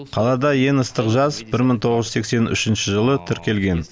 қалада ең ыстық жаз бір мың тоғыз жүз сексен үшінші жылы тіркелген